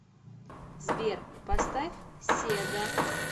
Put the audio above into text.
сбер поставь седа